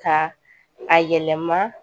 Ka a yɛlɛma